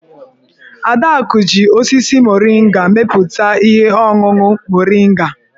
Adaku ji osisi moringa mepụta ihe ọṅụṅụ moringa.